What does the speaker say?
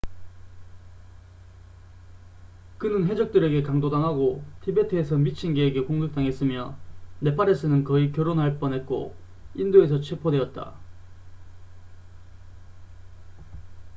그는 해적들에게 강도 당하고 티베트에서 미친개에게 공격당했으며 네팔에서는 거의 결혼할 뻔했고 인도에서 체포되었다